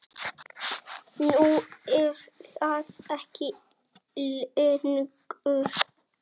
Nú er það ekki lengur.